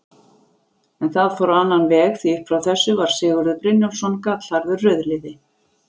En það fór á annan veg, því upp frá þessu var Sigurður Brynjólfsson gallharður rauðliði.